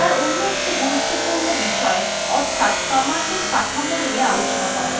এবার অন্য একটি গুরুত্বপূর্ণ বিষয় অর্থাত commandsএর কাঠামো নিয়ে আলোচনা করা যাক